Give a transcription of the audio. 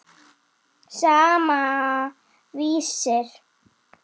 Sama, Vísir.